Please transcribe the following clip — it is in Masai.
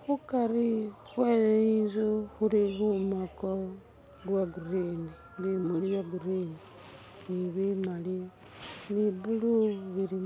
khukari khwenzu khuli lumako lwa'green bimuli bya'green ni'bimaali ni blue bili ...